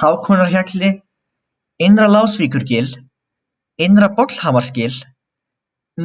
Hákonarhjalli, Innra-Lásvíkurgil, Innra-Bollhamarsgil,